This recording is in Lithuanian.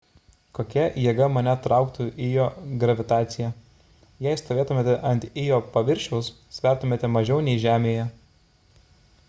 kokia jėga mane trauktų ijo gravitacija jei stovėtumėte ant ijo paviršiaus svertumėte mažiau nei žemėje